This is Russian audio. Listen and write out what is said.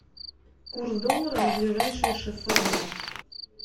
курс доллара на ближайшие шестьсот дня